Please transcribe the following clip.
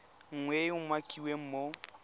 nngwe e e umakiwang mo